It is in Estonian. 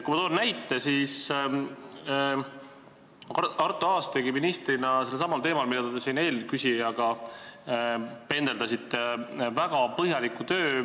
Kui toon näite, siis Arto Aas tegi ministrina sedasama küsimust lahendades, mida te eelküsijaga käsitlesite, väga põhjaliku töö.